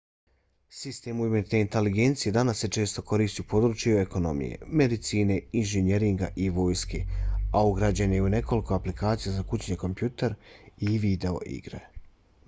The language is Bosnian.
sistem umjetne inteligencije danas se često koristi u području ekonomije medicine inženjeringa i vojske a ugrađen je i u nekoliko aplikacija za kućni kompjuter i video igre